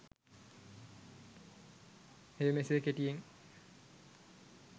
එය මෙසේ කෙටියෙන්